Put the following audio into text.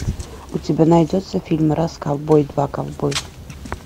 у тебя найдется фильм раз ковбой два ковбой